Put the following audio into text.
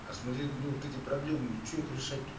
посмотреть ну эти проблемы ну че их решать тут